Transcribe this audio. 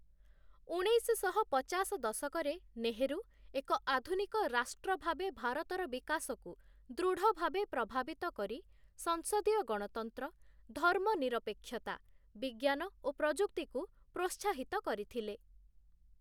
ଉଣେଇଶଶହ ପଚାଶ ଦଶକରେ ନେହେରୁ, ଏକ ଆଧୁନିକ ରାଷ୍ଟ୍ର ଭାବେ ଭାରତର ବିକାଶକୁ ଦୃଢ଼ଭାବେ ପ୍ରଭାବିତ କରି, ସଂସଦୀୟ ଗଣତନ୍ତ୍ର, ଧର୍ମନିରପେକ୍ଷତା, ବିଜ୍ଞାନ ଓ ପ୍ରଯୁକ୍ତିକୁ ପ୍ରୋତ୍ସାହିତ କରିଥିଲେ ।